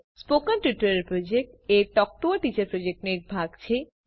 spoken tutorial project એ talk to a teacher પ્રોજેક્ટનો એક ભાગ છે